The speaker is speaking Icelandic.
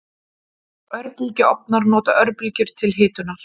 Örbylgjuofnar nota örbylgjur til hitunar.